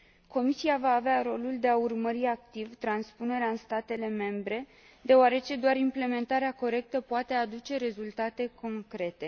Comisia va avea rolul de a urmări activ transpunerea în statele membre deoarece doar implementarea corectă poate aduce rezultate concrete.